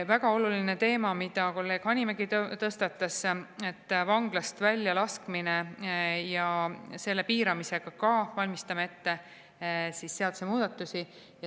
Väga oluline teema, mille kolleeg Hanimägi tõstatas, et vanglast väljalaskmine ja selle piiramise kohta valmistame me ka ette seadusemuudatusi.